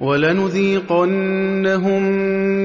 وَلَنُذِيقَنَّهُم